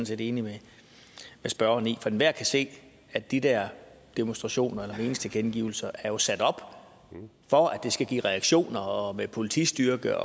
set enig med spørgeren i for enhver kan se at de der demonstrationer eller meningstilkendegivelser jo er sat op for at det skal give reaktioner med politistyrke